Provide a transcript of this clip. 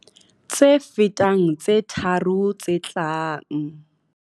tse fetang tse tharo tse tlang.